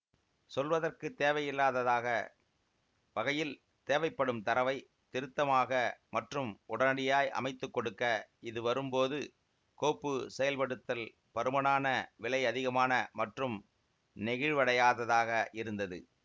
சொல்வதற்கு தேவையில்லாததாக வகையில் தேவைப்படும் தரவை திருத்தமாக மற்றும் உடனடியாய் அமைத்துக்கொடுக்க இது வரும் போது கோப்பு செயல்படுத்தல் பருமனான விலை அதிகமான மற்றும் நெகிழ்வடையாததாக இருந்தது